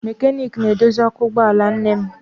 Mekaniiki na-edozi ọkụ ụgbọala nne m